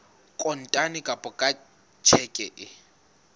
kontane kapa ka tjheke e